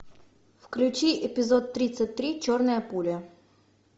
включи эпизод тридцать три черная пуля